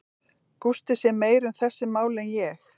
Gústi sér meira um þessi mál en ég.